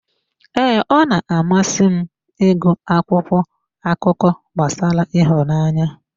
Ee, ọ na-amasị m ịgụ akwụkwọ akụkọ gbasara ịhụnanya.